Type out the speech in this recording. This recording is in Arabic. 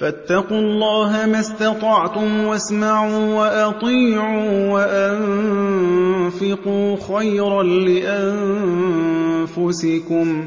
فَاتَّقُوا اللَّهَ مَا اسْتَطَعْتُمْ وَاسْمَعُوا وَأَطِيعُوا وَأَنفِقُوا خَيْرًا لِّأَنفُسِكُمْ ۗ